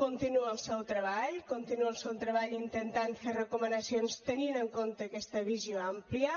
continua el seu treball continua el seu treball intentant fent recomanacions tenint en compte aquesta visió àmplia